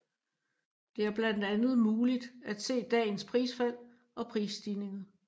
Det er blandt andet muligt at se dagens prisfald og prisstigninger